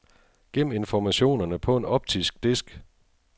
Gem informationerne på en optisk disk.